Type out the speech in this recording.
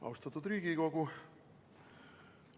Austatud Riigikogu!